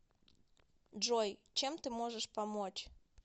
джой чем ты можешь помочь